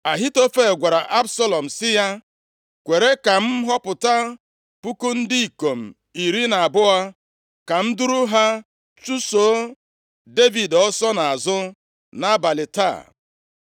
Ahitofel gwara Absalọm sị ya, “Kwere ka m họpụta puku ndị ikom iri na abụọ ka m duru ha chụso Devid ọsọ nʼazụ nʼabalị taa.